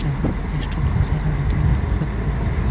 जहां पे कैस्ट्रोल का सारा मटेरियल रखा है.